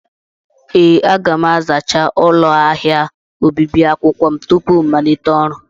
Ee, aga m azachaa ụlọ ahịa obibi akwụkwọ m tupu m malite ọrụ.